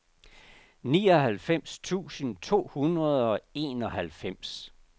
nioghalvfems tusind to hundrede og enoghalvfems